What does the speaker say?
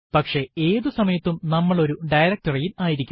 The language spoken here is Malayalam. പക്ഷെ ഏതു സമയത്തും നമ്മൾ ഒരു directory യിൽ ആയിരിക്കും